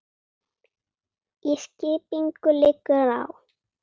Skipinu liggur á.